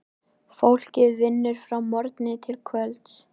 Fólkið vinnur frá morgni til kvölds.